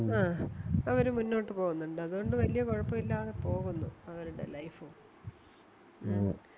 ആഹ് അവര് മുന്നോട്ട് പോകുന്നുണ്ട് അതുകൊണ്ട് വല്യ കൊഴപ്പവില്ലാതെ പോകുന്നു അവരുടെ Life